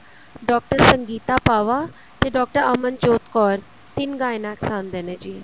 doctor Sangeeta Pawa ਤੇ doctor Amanjot Kaur ਤਿੰਨ Gynecs ਆਂਦੇ ਨੇ ਜੀ